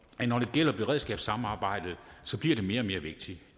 at når det gælder beredskabssamarbejdet så bliver det mere og mere vigtigt